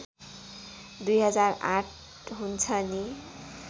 २००८ हुन्छ नि